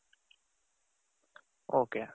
ok